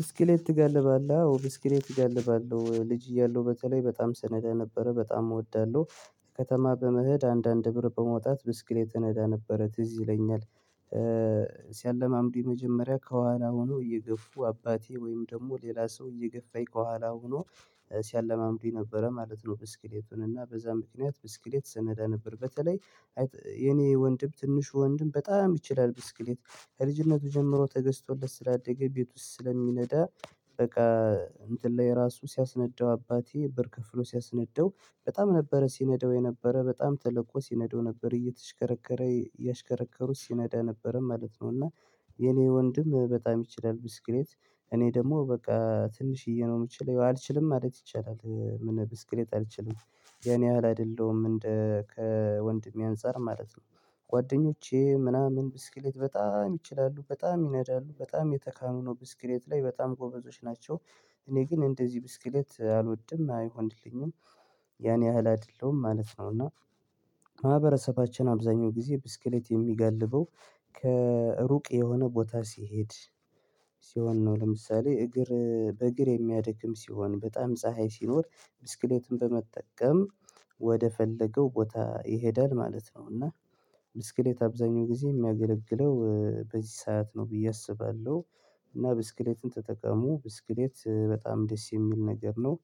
ብስክሌት ትጋልባለህ አዎ ብስክሌት እጋልባለሁ ልጅ እያለሁ በተለይ በጣም ስነዳ ነበረ በጣም እወዳለሁ። ከተማ በመሄድ አንዳንድ ብር በማውጣት ብስክሌት እነዳ ነበረ ትዝ ይለኛል። ሲያለማምዱኝ መጀመሪያ ከኋላ ሆኖ እየገፉ አባቴ ወይም ደግሞ ሌላ ሰው እየገፋኝ ከኋላ ሆኖ ሲያለማምዱኝ ነበረ ማለት ነው። ብስክሌቱን እና በዛ ምክንያት ብስክሌት ስነዳ ነበር። በተለይ የኔ ወንድም ትንሹ ወንድም በጣም ይችላል ብስክሌት ከልጅነቱ ጀምሮ ተገዝቶለት ስላደገ ቤት ውስጥ ስለሚነዳ። በቃ እንትን ላይ የራሱ ሲያስነዳው አባቴ ብር ከፍሎ ሲያስነዳው በጣም ነበረ ሲነዳው የነበረ በጣም ተለቆ ሲነዳው ነበር እየተሽከረከረ እያሽከረከሩት ሲነዳ ነበረ ማለት ነው። እና የኔ ወንድም በጣም ይችላል ብስክሌት። እኔ ደግሞ በቃ ትንሽዬ ነው የምችለው አልችልም ማለት ይቻላል ምን ብስክሌት አልችልም ያን ያህል አይደለሁም እንደ ከወንድሜ አንፃር ማለት ነው። ጓደኞቼ ምናምን ብስክሌት በጣም ይችላሉ በጣም ይነዳሉ በጣም የተካኑ ነው ብስክሌት ላይ በጣም ጎበዞች ናቸው። እኔ ግን እንደዚህ ብስክሌት አልወድም አይሆንልኝም። ያን ያህል አይደለሁም ማለት ነው። እና ማህበረሰባችን አብዛኛው ጊዜ ብስክሌት የሚጋልበው ከሩቅ የሆነ ቦታ ሲሄድ ሲሆን ነው። ለምሳሌ እግር በእግር የሚያደክም ሲሆን በጣም ፀሀይ ሲኖር ብስክሌትን በመጠቀም ወደፈለገው ቦታ ይሄዳል ማለት ነው። እና ብስክሌት አብዛኛው ጊዜ የሚያገለግለው በዚህ ሰዓት ነው ብዬ አስባለሁ። እና ብስክሌትን ተጠቀሙ ብስክሌት በጣም ደስ የሚል ነገር ነው።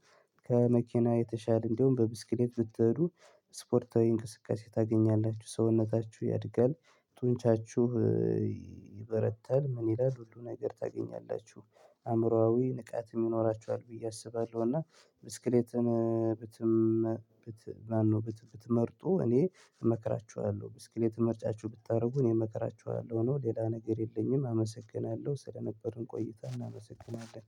ከመኪና የተሻለ እንደውም በብስክሌት ብትሄዱ ስፖርታዊ እንቅስቃሴ ታገኛላችሁ ሰውነታችሁ ያድጋል ጡንቻችሁ ይበረታል። ምን ይላል ሁሉ ነገር ታገኛላችሁ አእምሮአዊ ንቃትም ይኖራችኋል ብዬ አስባለሁ። እና ብትመርጡ እኔ እመክራችኋለሁ ብስክሌት ምርጫችሁ ብታደርጉ እኔ እመከራችኋለሁ ነው። ሌላ ነገር የለኝም። አመሰግናለሁ ስለነበርን ቆይታ እናመሰግናለን